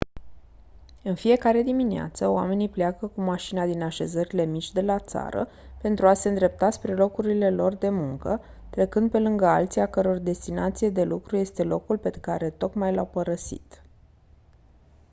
în fiecare dimineață oamenii pleacă cu mașina din așezările mici de la țară pentru a se îndrepta spre locurile lor de muncă trecând pe lângă alții a căror destinație de lucru este locul pe care tocmai l-au părăsit